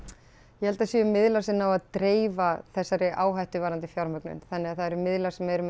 ég held að það séu miðlar sem ná að dreifa þessari áhættu varðandi fjármögnun þannig að það eru miðlar sem eru með